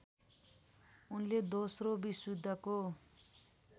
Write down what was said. उनले दोस्रो विश्वयुद्धको